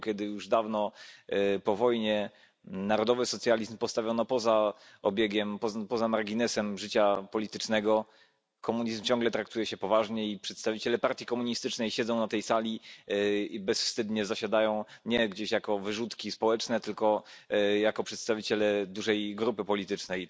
kiedy już dawno po wojnie narodowy socjalizm postawiono poza obiegiem, poza marginesem życia politycznego, komunizm ciągle traktuje się poważnie i przedstawiciele partii komunistycznej siedzą na tej sali i bezwstydnie zasiadają, nie gdzieś jako wyrzutki społeczne tylko jako przedstawiciele dużej grupy politycznej.